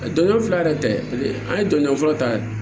Jɔn fila yɛrɛ tɛ an ye jɔnjɔn fɔlɔ ta